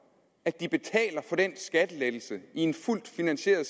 at de betaler for den skattelettelse i en fuldt finansieret